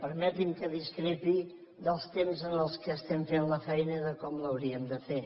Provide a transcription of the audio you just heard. permeti’m que discrepi dels temps en què estem fent la feina i de com l’hauríem de fer